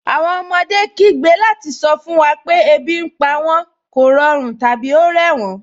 Awọn ọmọdé kìí gbẹ́ lati sọ fun wa pẹ̀ ẹbi ní pa wọn, kọ̀rọ̀run, tabi o rẹ wọn.